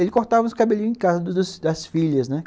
Ele cortava os cabelinhos em casa das das filhas, né?